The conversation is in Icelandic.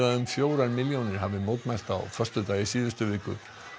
um fjórar milljónir hafi mótmælt á föstudag í síðustu viku